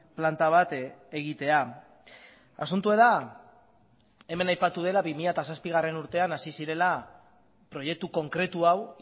planta bat egitea asuntoa da hemen aipatu dela bi mila zazpigarrena urtean hasi zirela proiektu konkretu hau